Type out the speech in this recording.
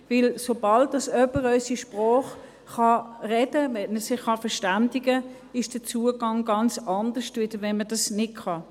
Denn sobald jemand unsere Sprache sprechen kann, wenn er sich verständigen kann, ist der Zugang ganz anders, als wenn man das nicht kann.